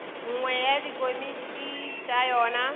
nngwe ya dikomiti tša yona